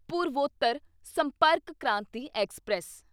Purvottar Sampark Kranti express